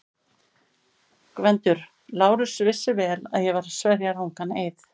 GVENDUR: Lárus vissi vel að ég var að sverja rangan eið.